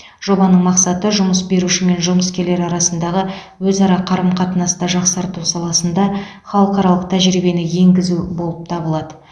жобаның мақсаты жұмыс беруші мен жұмыскерлер арасындағы өзара қарым қатынасты жақсарту саласында халықаралық тәжірибені енгізу болып табылады